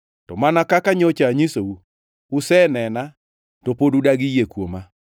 To mana kaka nyocha anyisou, usenena to pod udagi yie kuoma.